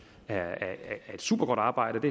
er et supergodt arbejde